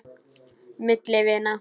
Milli vina.